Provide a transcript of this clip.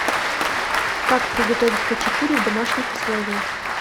как приготовить хачапури в домашних условиях